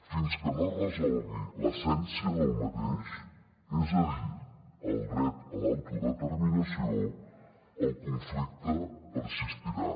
fins que no es resolgui l’essència del mateix és a dir el dret a l’autodeterminació el conflicte persistirà